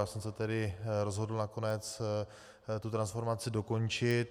Já jsem se tedy rozhodl nakonec tu transformaci dokončit.